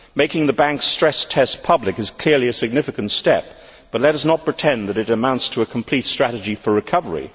Making the banks' stress tests public is clearly a significant step, but let us not pretend that it amounts to a complete strategy for recovery.